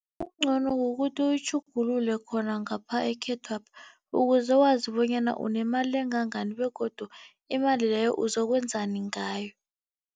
Okungcono kukuthi uyitjhugululele khona ngapha ekhethwapha, ukuze wazi bonyana unemali engangani begodu imali leyo uzokwenzani ngayo.